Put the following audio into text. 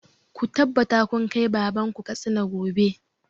Ku tabbata kun kai baban ku Katsina gobe!